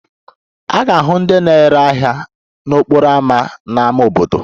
A ga-ahụ ndị na-ere ahịa n'okporo ámá n'ámá obodo